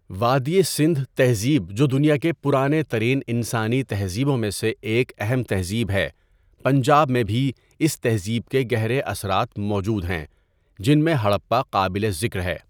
وادئ سندھ تہذیب جو دنیا کے پرانے ترین انسانی تہذیبوں میں سے ایک اہم تہذیب ہے، پنجاب میں بھی اس تہذیب کے گہرے اثرات موجود ہیں جن میں ہڑپہ قابل ذکر ہے.